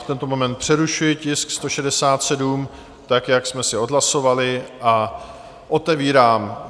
V tento moment přerušuji tisk 167 tak, jak jsme si odhlasovali, a otevírám